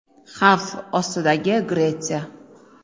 “Xavf ostidagi” Gretsiya.